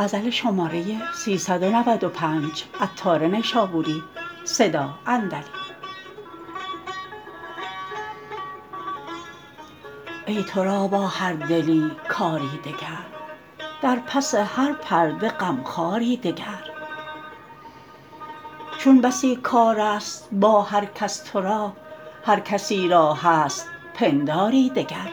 ای تو را با هر دلی کاری دگر در پس هر پرده غمخواری دگر چون بسی کار است با هر کس تورا هر کسی را هست پنداری دگر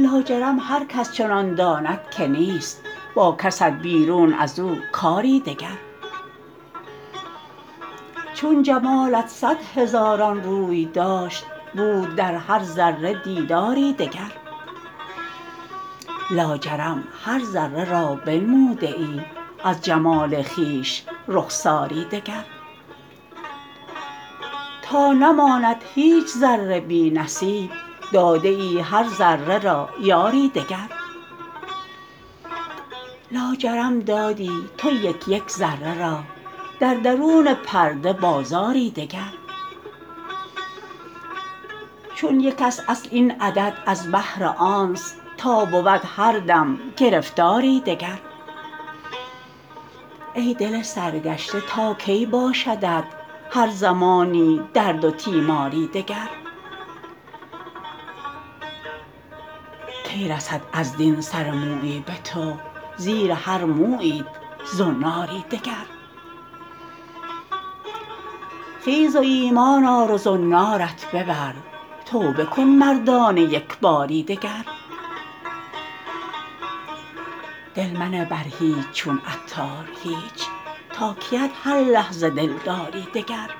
لاجرم هرکس چنان داند که نیست با کست بیرون ازو کاری دگر چون جمالت صد هزاران روی داشت بود در هر ذره دیداری دگر لاجرم هر ذره را بنموده ای از جمال خویش رخساری دگر تا نماند هیچ ذره بی نصیب داده ای هر ذره را یاری دگر لاجرم دادی تو یک یک ذره را در درون پرده بازاری دگر چون یک است اصل این عدد از بهر آنست تا بود هر دم گرفتاری دگر ای دل سرگشته تا کی باشدت هر زمانی درد و تیماری دگر کی رسد از دین سر مویی به تو زیر هر موییت زناری دگر خیز و ایمان آر و زنارت ببر توبه کن مردانه یکباری دگر دل منه بر هیچ چون عطار هیچ تا کیت هر لحظه دلداری دگر